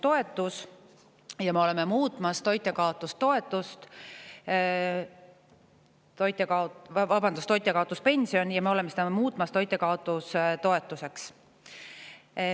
Praegu on meil olemas toitjakaotuspension, aga nüüd me muudame selle toitjakaotustoetuseks.